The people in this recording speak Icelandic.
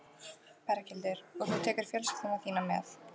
Berghildur: Og þú tekur fjölskylduna þína með?